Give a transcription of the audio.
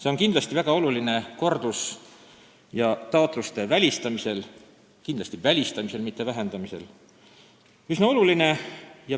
See on väga oluline kordustaotluste ja -aruannete välistamisel, kindlasti just välistamisel, mitte nende arvu vähendamisel.